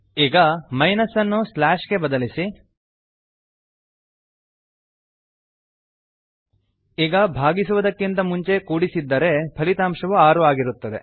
ಈಗ ಮೈನಸ್ ಅನ್ನು ಸ್ಲ್ಯಾಶ್ ಗೆ ಬದಲಿಸಿ ಈಗ ಭಾಗಿಸುವದಕ್ಕಿಂತ ಮುಂಚೆ ಕೂಡಿಸಿದ್ದರೆ ಫಲಿತಾಂಶವು 6 ಆಗಿರುತ್ತದೆ